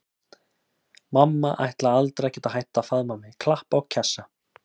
Mamma ætlaði aldrei að geta hætt að faðma mig, klappa og kjassa.